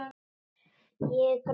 Ég græt.